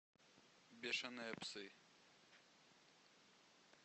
бешеные псы